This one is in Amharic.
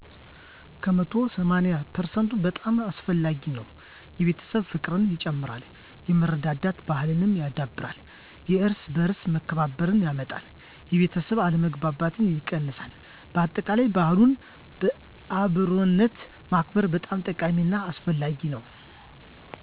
ከመቶ ሰማኒያ ፐርሰንት በጣም አስፈላጊ ነው። የቤተሰብ ፍቅርን ይጨምራል፣ የመረዳዳት ባሕልን ያዳብራል፣ የየእርስ በእርስ መከባበርን ያመጣል፣ የቤተሠብ አለመግባባትን ይቀንሳል በአጠቃላይ በዓልን በአብሮነት ማክበር በጣም ጠቃሚ እና አስፈላጊ ነው።